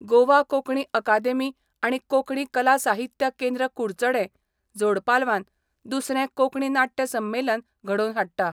गोवा कोंकणी अकादेमी आनी कोंकणी कला साहित्य केंद्र कुडचडें जोडपालवान दुसरें कोंकणी नाटय संमेलन घडोवन हाडटा.